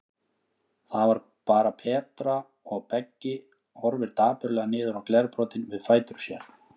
Það var bara Petra, og Beggi horfir dapurlega niður á glerbrotin við fætur sér.